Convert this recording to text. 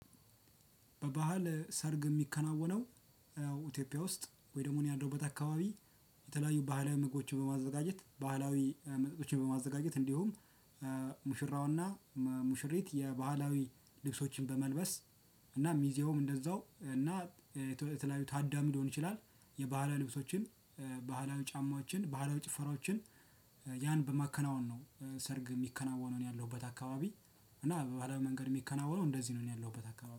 በባህል ሰርግ የሚከናወነው ኢትዮጵያ ውስጥ ወይ ደግሞ እኔ ያልደውበት አካባቢ የተለያዩ ባህል ምግቦችን በማዘጋጀት፣ ባህላዊ መጠጦችን በማዘጋጀት እንዲሁም ሙሽራውና ሙሽሪት የባህላዊ ልብሶችን በመልበስ እና ሚዜውም እንደዛው እና የተለያዩ ታዳሚ ሊሆን ይችላል የባህላ ልብሶችን ባህላዊ ጫማችን፣ ባህላዊ ጭፈራዎችን ያን በማከናወን ነው ሰርግ የሚከናወነውን ያለሁበት አካባቢ። እና በባህላዊ መንገድ የሚከናወነው እንደዚህ ነው ያለሁበት አካባቢ።